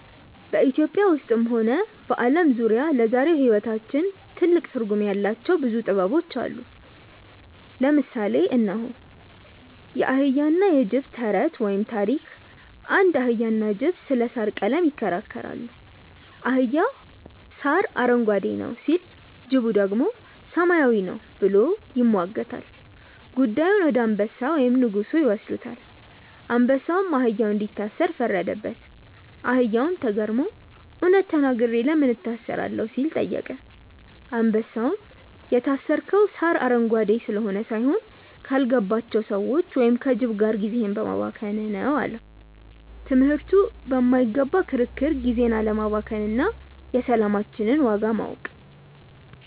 ኢትዮጵያ ውስጥም ሆነ በዓለም ዙሪያ ለዛሬው ሕይወታችን ትልቅ ትርጉም ያላቸው ብዙ ጥበቦች አሉ። ለምሳሌ እነሆ፦ የአህያና የጅብ ተረት (ታሪክ) አንድ አህያና ጅብ ስለ ሣር ቀለም ይከራከራሉ። አህያው "ሣር አረንጓዴ ነው" ሲል፣ ጅቡ ደግሞ "ሰማያዊ ነው" ብሎ ይሟገታል። ጉዳዩን ወደ አንበሳ (ንጉሡ) ይወስዱታል። አንበሳውም አህያውን እንዲታሰር ፈረደበት። አህያውም ተገርሞ "እውነት ተናግሬ ለምን እታሰራለሁ?" ሲል ጠየቀ። አንበሳውም "የታሰርከው ሣር አረንጓዴ ስለሆነ ሳይሆን፣ ካልገባቸው ሰዎች (ከጅብ) ጋር ጊዜህን በማባከንህ ነው" አለው። ትምህርቱ በማይረባ ክርክር ጊዜን አለማባከን እና የሰላማችንን ዋጋ ማወቅ።